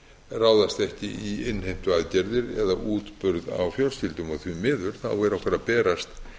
ráðast ekki í innheimtuaðgerðir eða útburð á fjölskyldum því miður er okkur að berast